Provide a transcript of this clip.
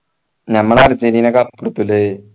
ഞമ്മളെ Argentina cup എടുത്തുയല്ലേ